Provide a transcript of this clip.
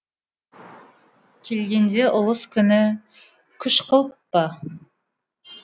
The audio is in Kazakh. келгенде ұлыс күні күш қылып па